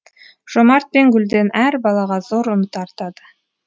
жомарт пен гүлден әр балаға зор үміт артады